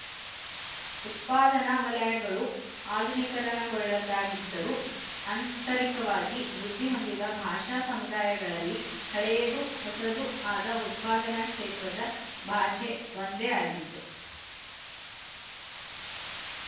ಉತ್ಪಾದನಾ ವಲಯಗಳು ಅಧುನೀಕರಣಗೊಳ್ಳದಾಗಿದ್ದರು ಆಂತರಿಕವಾಗಿ ವೃದ್ಧಿಹೊಂದಿದ ಭಾಷಾ ಸಮುದಾಯಗಳಲ್ಲಿ ಹಳೆಯದೂ ಹೊಸದೂ ಆದ ಉತ್ಪಾದನಾ ಕ್ಷೇತ್ರದ ಭಾಷೆ ಒಂದೇ ಆಗಿತ್ತು